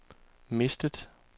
mistet